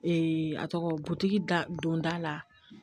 a tɔgɔ butigi da don da la